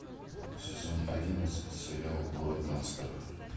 сезон одиннадцать сериал город гангстеров